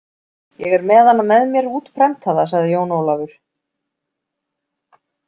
Ég er með hana með mér útprentaða, sagði Jón Ólafur.